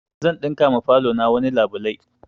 Zan ɗinka ma falo na wani labulai